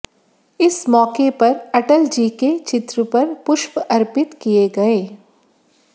इस मौके पर अटल जी के चित्र पर पुष्प अर्पित किए गए